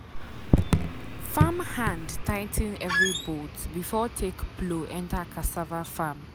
farmhand tigh ten every bolt before take plow enter cassava farm.